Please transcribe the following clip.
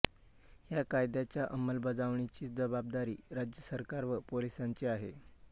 या कायद्याच्या अंमलबजावणीची जबाबदारी राज्य सरकार व पोलिसांची आहे